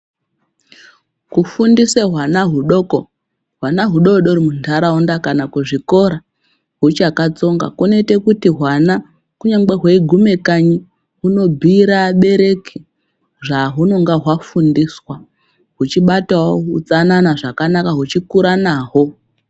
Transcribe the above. Kufundisa hwana hudoko, hwana hudoodori munharaunda kana kuzvikora huchakatsonga kunoita kuti hwana kunyangwe hweigume kanyi hunobhuira vabereki zvahunonga hwafundiswa huchibatawo utsanana zvakanaka hweikura nahwo.